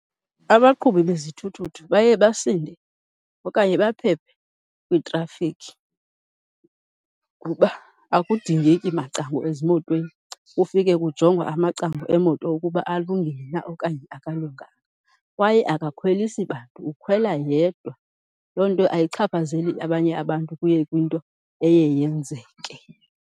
Abaqhubi bezithuthuthu baye basinde okanye baphephe kwitrafikhi kuba akudingeki macango ezimotweni, kufike kujongwa amacango emoto ukuba alungile na okanye akalunganga. Kwaye akakhwelisi bantu ukhwela yedwa, loo nto ayichaphazeli abanye abantu kuye kwinto eye yenzeke.